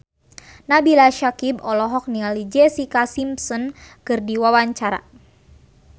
Nabila Syakieb olohok ningali Jessica Simpson keur diwawancara